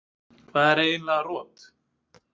Hvað er eiginlega rot?